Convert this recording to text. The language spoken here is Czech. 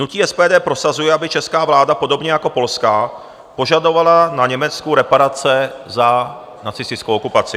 Hnutí SPD prosazuje, aby česká vláda, podobně jako polská, požadovala na Německu reparace za nacistickou okupaci.